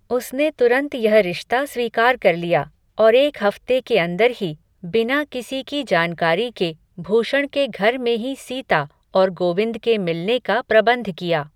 उसने तुरंत यह रिश्ता स्वीकार कर लिया, और एक हफ़्ते के अंदर ही, बिना किसी की जानकारी के, भूषण के घर में ही सीता, और गोविंद के मिलने का प्रबंध किया